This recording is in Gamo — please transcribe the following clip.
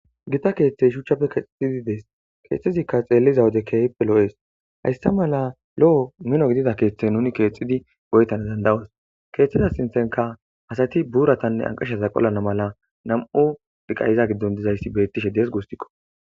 gita keeththey shuchchapfe keexixidi dees keexthezikka xeelliza wode keehippe lo7ees hayssa mala lo7o mino gidida keeththe nuni keexxidi goyetana danda7os keeththeda sintenka asati buuratanne anqasha zaqolana mala nam7u diqayiza giddon dizayssi beettishe dees gustikko